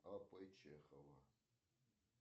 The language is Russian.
а п чехова